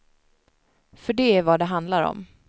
För det är vad det handlar om.